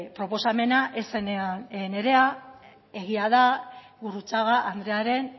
proposamena ez zenean nirea egia da gurrutxaga andrearen